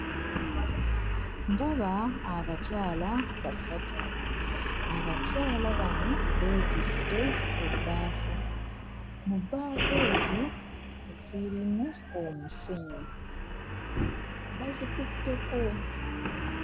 Ndaba bakyala basatu. Abakyala bano beetisse ebbaafu. Mu bbaafu ezo zirimu omusenyu; bazikutteko.